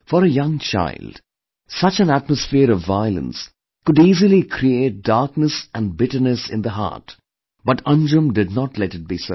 For a young child, such an atmosphere of violence could easily create darkness and bitterness in the heart, but Anjum did not let it be so